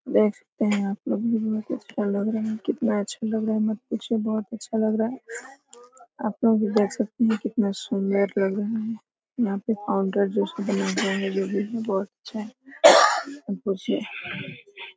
देख सकते है आपलोग कितना अच्छा लग रहा है मत पूछिए बहुत अच्छा लग रहा है आपलोग भी देख सकते है कितनी सुन्दर लग रहा है यहाँ पे फाउंडर ब्रिज बहोत अच्छा --